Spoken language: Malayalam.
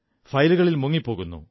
ഫയലുകളിൽ മുങ്ങിപ്പോകുന്നു